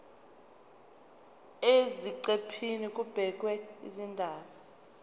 eziqephini kubhekwe izindaba